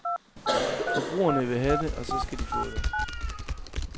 Forbrugerne vil have det, og så skal de få det.